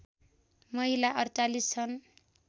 महिला ४८ छन्